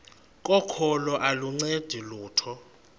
kokholo aluncedi lutho